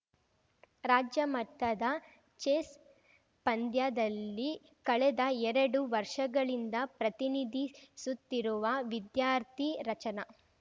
ರಾಜ್ಯ ಮಟ್ಟದ ಚೆಸ್‌ ಪಂದ್ಯಾದಲ್ಲಿ ಕಳೆದ ಎರಡು ವರ್ಷಗಳಿಂದ ಪ್ರತಿನಿಧಿಸುತ್ತಿರುವ ವಿದ್ಯಾರ್ಥಿ ರಚನ